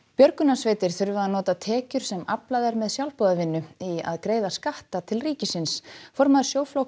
björgunarsveitir þurfa að nota tekjur sem aflað er með sjálfboðavinnu í að greiða skatta til ríkisins formaður